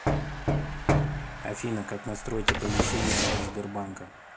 афина как настроить оповещение от сбербанка